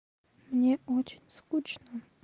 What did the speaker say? мне очень скучно